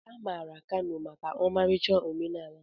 A maara Kano maka ọmarịcha omenala ya.